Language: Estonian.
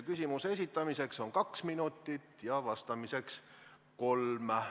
Küsimuse esitamiseks on kaks minutit ja vastamiseks kolm.